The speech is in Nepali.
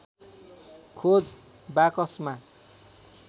खोज बाकसमा